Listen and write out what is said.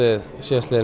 við